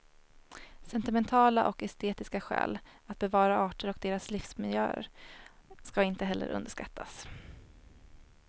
Sentimentala och estetiska skäl att bevara arter och deras livsmiljöer ska inte heller underskattas.